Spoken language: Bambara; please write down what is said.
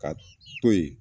Ka to yen